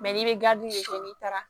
n'i bɛ gamugu n'i taara